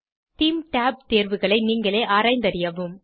தேமே tab தேர்வுகளை நீங்களே ஆராய்ந்தறியவும்